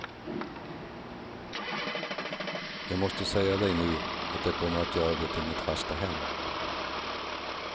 Jag måste säga dig nu att jag kommer att göra det till mitt fasta hem.